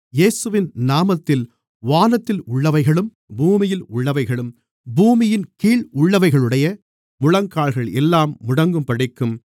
இயேசுவின் நாமத்தில் வானத்தில் உள்ளவைகளும் பூமியில் உள்ளவைகளும் பூமியின் கீழ் உள்ளவைகளுடைய முழங்கால்கள் எல்லாம் முடங்கும்படிக்கும்